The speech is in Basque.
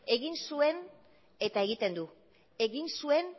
egin zuen eta